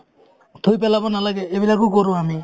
থুই পেলাব নালাগে এইবিলাকো কৰো আমি